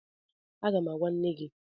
Aga m agwa nne gị